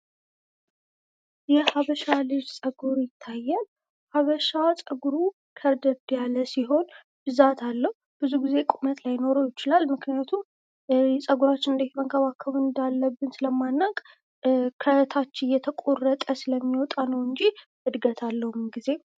የሀበሻ ልጅ ፀጉር ይታያል። ሀበሻ ፀጉሩ ከርደድ ያለ ሲሆን ብዛት አለው ብዙ ጊዜ ቁመት ላይኖረው ይችላል ምክንያቱም ፀጉራችን እንዴት መንከባከብ እንዳለብን ሰለማናውቅ ከታች እየተቆረጥ ስለሚወጣ ነውጂ እድገት አለው ምንግዜም።